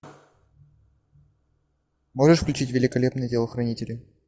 можешь включить великолепные телохранители